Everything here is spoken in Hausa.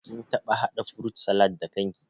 Kin taɓa haɗa furut salad da kan ki?